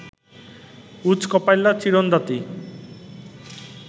উঁচ কপাইল্যা চিরন দাঁতি